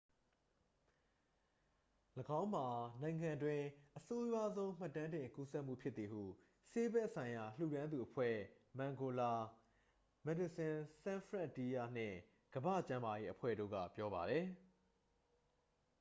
၎င်းမှာနိုင်ငံအတွင်း အဆိုးရွားဆုံးမှတ်တမ်းတင် ကူးစက်မှုဖြစ်သည်ဟု ဆေးဘက်ဆိုင်ရာ လှူဒါန်းသူအဖွဲ့ မန်ဂိုလာ မက်ဒီဆင်ဆန်းဖရန့်တီးယားနှင့် ကမ္ဘာ့ကျန်းမာရေးအဖွဲ့တို့က ပြောပါသည်